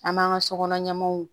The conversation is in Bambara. An b'an ka sokɔnɔ ɲɛmɔw